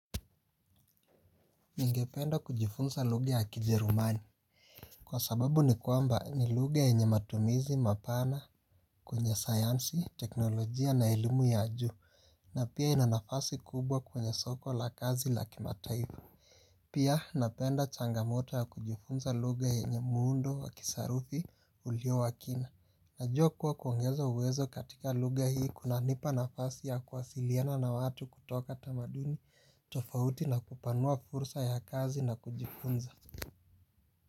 Ningependa kujifunza luga ya kijerumani. Kwa sababu ni kwamba ni luga yenye matumizi mapana kwenye sayansi teknolojia na elimu ya juu. Na pia inanafasi kubwa kwenye soko la kazi la kimataifa. Pia napenda changamoto ya kujifunza luga yenye muundo wa kisarufi ulio wa kina. Najuwa kuwa kuongezo uwezo katika luga hii kunanipa nafasi ya kuasiliana na watu kutoka tamaduni tofauti na ku panua fursa ya kazi na kujifunza.